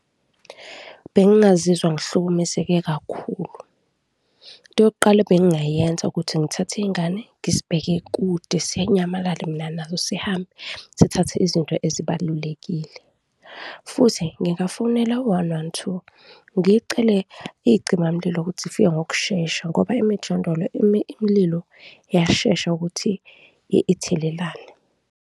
Bengingazizwa ngihlukumezeke kakhulu. Into yokuqala ebengingayenza ukuthi ngithathe ingane, ngisibheke kude sinyamalale mina naso, sihambe, sithathe izinto ezibalulekile futhi ngingafonela u-one one two, ngicele izicimamlilo ukuthi zifika ngokushesha ngoba emijondolo imililo iyashesha ukuthi ithelelane.